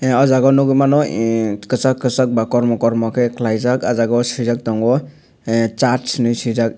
ang o jaga nogoi mano em kisak kisak ba kormo kormo kei kelaijak o jag o sijak tongo ah sat hinui sijakh.